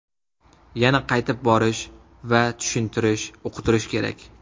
Yana qaytib borish va tushuntirish, uqdirish kerak.